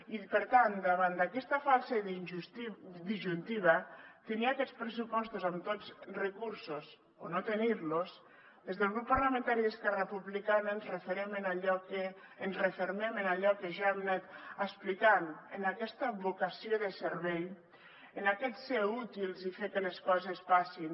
i per tant davant d’aquesta falsa disjuntiva tenir aquests pressupostos amb tots els recursos o no tenir los des del grup parlamentari d’esquerra republicana ens refermem en allò que ja hem anat explicant en aquesta vocació de servei en aquest ser útils i fer que les coses passin